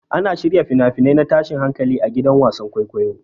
Ana shirya fina-finai na tashin hankali a gidan wasan kwaikwayo.